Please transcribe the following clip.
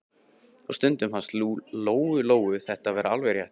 Og stundum fannst Lóu-Lóu þetta vera alveg rétt.